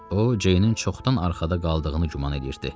O, Ceynin çoxdan arxada qaldığını güman eləyirdi.